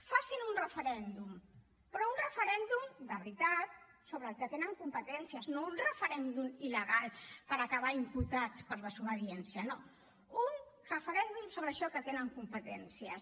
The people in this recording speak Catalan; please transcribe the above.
facin un referèndum però un referèndum de veritat sobre el que tenen competències no un referèndum il·legal per acabar imputats per desobediència no un referèndum sobre això que tenen competències